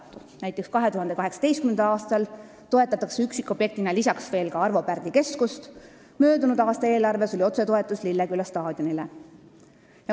Näiteks toetatakse 2018. aastal üksikobjektina lisaks veel ka Arvo Pärdi Keskust, möödunud aasta eelarves oli otsetoetus Lilleküla staadionile.